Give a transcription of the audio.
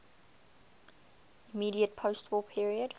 immediate postwar period